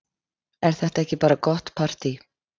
Er þetta ekki bara gott partý?